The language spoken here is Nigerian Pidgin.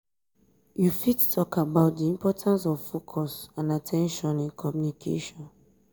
you fit talk about di importance of focus and at ten tion in communication.